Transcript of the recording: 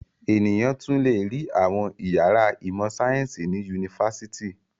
Ènìyàn tún le rí àwọn ìyàrá ìmọ̀-sáyẹ́ńsì ní yunifásitì.